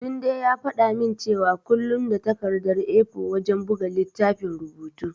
Tunde ya faɗa min cewa kullum da takardar A4 wajen buga littafin rubutu.